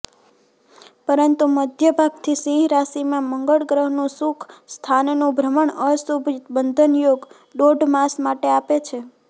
પરંતુ મધ્યભાગથી સિંહ રાશીમાં મંગળગ્રહનું સુખ સ્થાનનું ભ્રમણ અશુભ બંધનયોગ દોઢ માસ માટે આપે છે